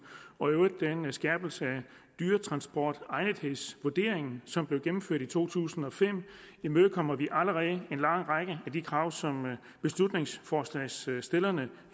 og i øvrigt den skærpelse af dyretransportegnethedsvurderingen som blev gennemført i to tusind og fem imødekommer vi allerede en lang række af de krav som beslutningsforslagsstillerne